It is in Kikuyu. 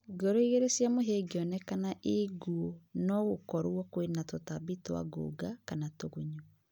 Ngoro igĩrĩ cia mũhĩa ingĩonekana inguũ nogũkorwo kwina tũtambi twa ngũnga kana tũgunyũ